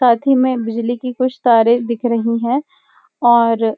साथ ही में बिजली की कुछ तारे दिख रही हैं और --